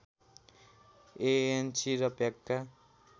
ANC र प्याकका